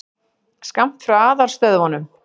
Skammt frá aðalstöðvunum.